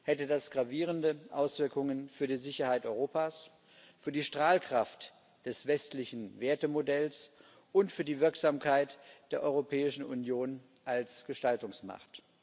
hätte das gravierende Auswirkungen für die Sicherheit Europas, für die Strahlkraft des westlichen Wertemodells und für die Wirksamkeit der Europäischen Union als Gestaltungsmacht.